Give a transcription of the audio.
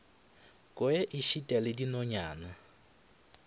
kwe e šita le dinonyana